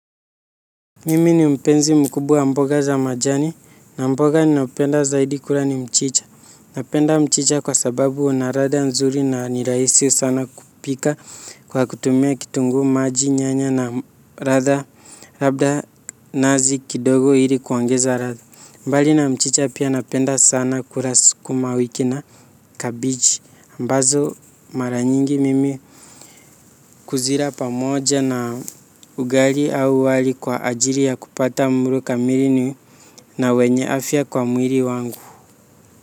Mimi ni mpenzi mkubwa wa mboga za majani na mboga ninapenda zaidi kula ni mchicha. Napenda mchicha kwa sababu una ladha nzuri na ni rahisi sana kupika kwa kutumia kitunguu maji nyanya na ladha labda nazi kidogo ili kuongeza ladha. Mbali na mchicha pia napenda sana kula skuma wiki na kabiji ambazo mara nyingi mimi kuzila pamoja na ugali au wali kwa ajiri ya kupata mlo kamili. Na wenye afya kwa mwili wangu.